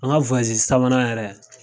An ka wayazi sabanan yɛrɛ